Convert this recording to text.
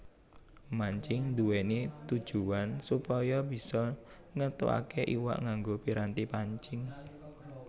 Mancing nduwèni tujuwan supaya bisa ngéntukaké iwak nganggo piranti pancing